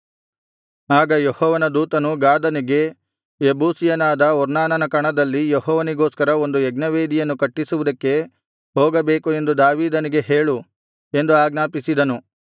ಆಗ ಯೆಹೋವನ ದೂತನು ಗಾದನಿಗೆ ಯೆಬೂಸಿಯನಾದ ಒರ್ನಾನನ ಕಣದಲ್ಲಿ ಯೆಹೋವನಿಗೋಸ್ಕರ ಒಂದು ಯಜ್ಞವೇದಿಯನ್ನು ಕಟ್ಟಿಸುವುದಕ್ಕೆ ಹೋಗಬೇಕು ಎಂದು ದಾವೀದನಿಗೆ ಹೇಳು ಎಂದು ಆಜ್ಞಾಪಿಸಿದನು